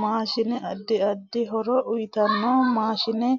Maashine addi addi horo uyiitanno maashine